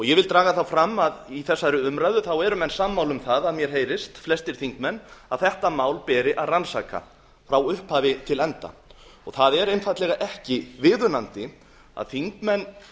vil draga fram að í þessari umræðu eru menn sammála um að mér heyrist flestir þingmenn að þetta mál beri að rannsaka frá upphafi til enda það er einfaldlega ekki viðunandi að þingmenn